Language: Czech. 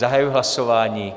Zahajuji hlasování.